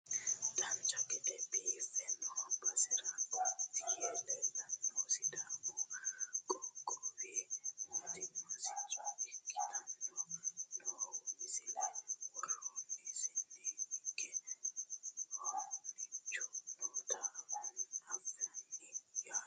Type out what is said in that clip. dancha gede biiffe noo basera gotti yee leellanohu sidaamu qoqqowi mootimma sicco ikkinohu nooha mulesi worosiinni hige hoonchu noota anfanniho yaate